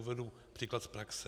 Uvedu příklad z praxe.